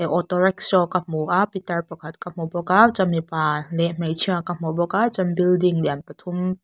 auto rickshaw ka hmu a pitar pakhat ka hmu bawka chuan mipa leh hmeichhia ka hmu bawka chuan building lian pathum--